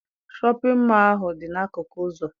Shọpịn mọọ ahụ dị n'akụkụ ụzọ.